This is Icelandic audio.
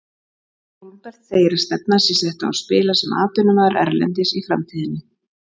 Hólmbert segir að stefnan sé sett á að spila sem atvinnumaður erlendis í framtíðinni.